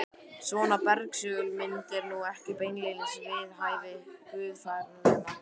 Svona bersögul mynd er nú ekki beinlínis við hæfi guðfræðinema.